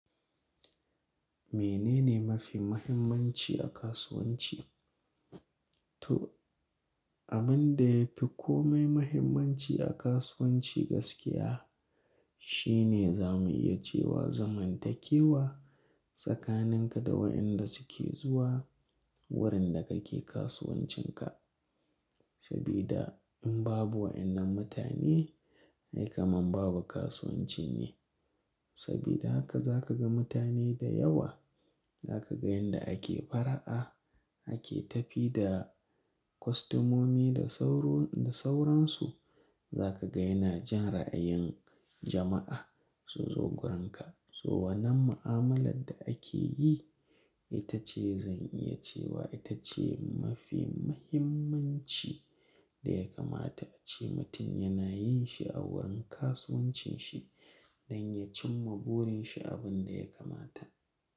Menene mafi muhimmanci a kasuwanci? To, abin da ya fi kome muhimmanci a kasuwanci gaskiya shine zamu iya cewa zamantakewa tsakaninka da wayanda suke zuwa wurin da kake kasuwancinka. Sabida in babu wayannan mutane, ai kaman babu kasuwanci ne. Sabida haka za ka ga mutane da yawa, za ka ga yanda ake fara'a, ake tafi da kostomomi da sauransu. Za ka ga yana jan ra'ayin jama'a sun zo wurinka. So wannan ma'amalar da ake yi, ita ce zan iya cewa ita ce mafi muhimmanci da ya kamata a ce mutum yana yin shi a wurin kasuwancin shi, don ya cimma burin shi abin da ya kamata.